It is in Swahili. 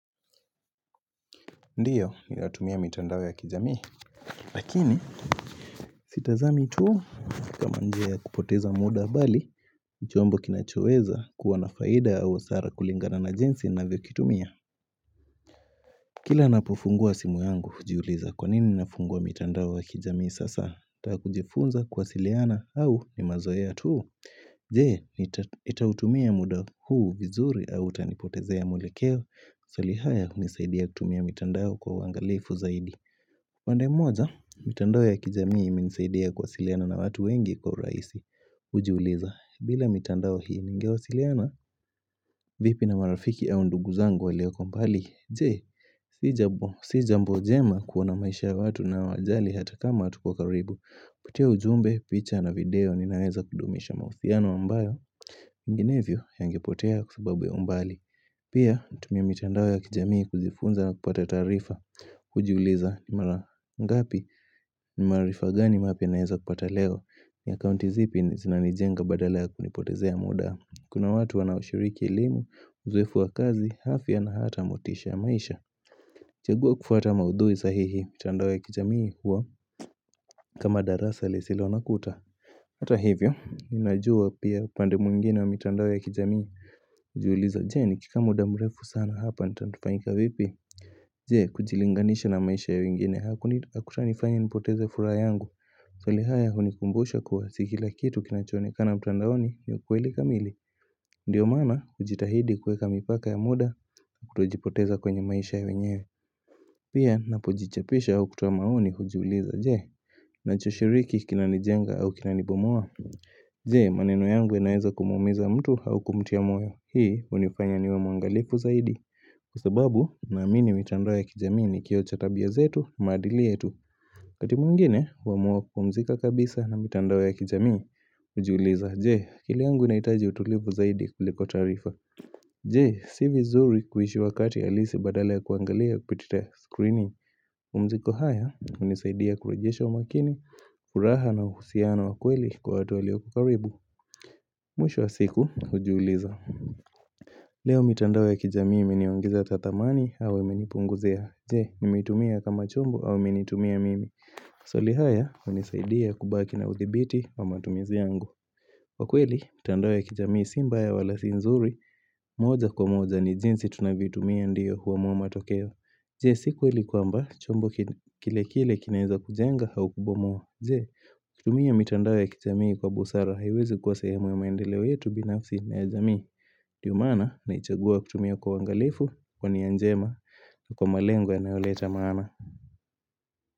Ndiyo nilatumia mitandao ya kijamii Lakini Sitazami tuu kama njea kupoteza muda bali nichombo kinachoweza kuwa nafaida au hasara kulingana na jinsi na vyo kitumia Kila napofungua simu yangu ujiuliza kwa nini nafungua mitandao ya kijamii sasa takujifunza kwa siliana au ni mazoea tuu Jee nitautumia muda huu vizuri au tanipotezea mwelekeo salihaya nisaidia kutumia mitandao kwa wangalifu zaidi Wande moja, mitandao ya kijamii minisaidia kwa siliana na watu wengi kwa uraisi Ujiuliza, bila mitandao hii ningewasiliana vipi na marafiki au ndugu zangu waleoko kwa mbali Jee, sijambo njema kuona maisha ya watu na wajali hata kama atu kwa karibu Kupitia ujumbe, picha na video, ninaweza kudumisha mahusiano ambayo Menginevyo ya angepotea kusababu ya umbali Pia, tumia mitandao ya kijamii kuzifunza na kupata tarifa Kujuleza ni mara ngapi ni marifa gani mapya ya naeza kupata leo ya kaunti zipi zina nijenga badala ya kunipotezea muda Kuna watu wanaoshiriki ilimu, uzwefu wa kazi, hafi ya na hata amotisha ya maisha Jagua kufata maudhui sahihi, mitandawe ya kijamii huwa kama darasa lisilo nakuta Hata hivyo, inajua pia pande mwngine wa mitandao ya kijamii kujiuliza, je ni kikamu da mrefu sana hapa, nitantufaika vipi Jee kujilinganisha na maisha ya ingine hakuta nifanya nipoteze fura yangu Solihaya unikumbusha kuwa sikila kitu kinachonekana mtandaoni ni ukuelika mili Ndiyo mana kujitahidi kweka mipaka ya muda kutojipoteza kwenye maisha ya nyewe Pia napojichapisha au kutamaoni kujibuliza jee nacho shiriki kinani jenga au kinani bomoa Jee maneno yangu enaeza kumumeza mtu au kumtia moyo Hii unifanya niwe mwangalifu zaidi Kwa sababu namini mitandao ya kijamii ni kilo cha tabia zetu maadili yetu kati mwngine wamua kukumzika kabisa na mitandao ya kijami ujuuliza Je akiliangu inaitaji utulivu zaidi kuliko tarifa Je si vizuri kuhishi wakati alisi badale ya kuangalia kupitita screening Umziko haya unisaidia kurajesha umakini, kuraha na uhusiana wakweli kwa watu waliokukaribu Mwisho wa siku ujuuliza Leo mitandao ya kijamii imeniongeza tathamani au menipunguzea. Je, nimitumia kama chombo au menitumia mimi. Swali haya, unisaidia kubaki na udhibiti wa matumizi yangu. Wakweli, mitandao ya kijamii simba ya walasi nzuri. Moja kwa moja ni jinsi tunavyoitumia ndiyo huwa mua matokeo. Je, sikuweli kwamba chombo kile kile kile kinaiza kujenga au kubomua. Je, kutumia mitandao ya kijamii kwa busara hiwezi kwa sehemu ya maendeleo yetu binafsi na ya jamii. Ndiyo mana na ichagua kutumia kwa wangalifu kwa ni njema kwa malengo anayoleta maana.